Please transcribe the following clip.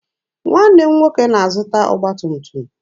Nwanne m nwoke na-azụta ọgba tum tum.